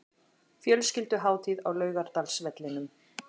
Fjölskylduhátíð á Laugardalsvellinum